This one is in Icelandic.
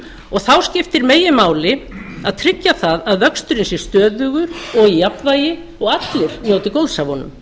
og þá skiptir meginmáli að tryggja að vöxturinn sé stöðugur og í jafnvægi og allir njóti góðs af honum